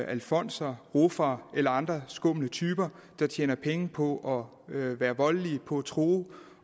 alfonser ruffere eller andre skumle typer der tjener penge på at være voldelige på at true